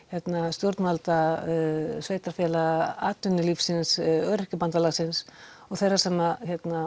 stjórnvalda sveitarfélaga atvinnulífsins Öryrkjabandalagsins og þeirra sem